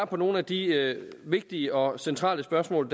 på nogle af de vigtige og centrale spørgsmål